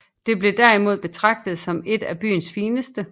Det blev derimod betragtet som et af byens fineste